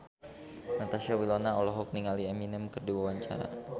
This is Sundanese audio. Natasha Wilona olohok ningali Eminem keur diwawancara